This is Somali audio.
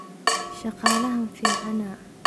Shakalaxan fiicana.